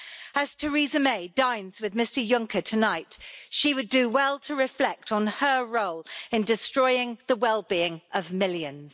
As Theresa May dines with Mr Juncker tonight, she would do well to reflect on her role in destroying the well-being of millions.